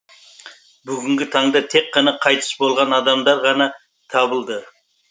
бүгінгі таңда тек қана қайтыс болған адамдар ғана табылды